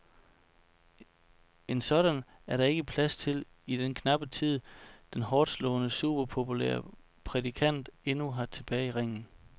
En sådan er der ikke plads til i den knappe tid, den hårdtslående, superpopulære prædikant endnu har tilbage i ringen.